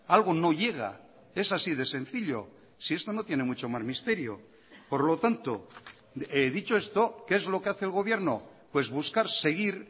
algo no llega es así de sencillo si esto no tiene mucho más misterio por lo tanto dicho esto qué es lo que hace el gobierno pues buscar seguir